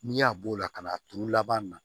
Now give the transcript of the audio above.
N'i y'a b'o la ka n'a turu laban na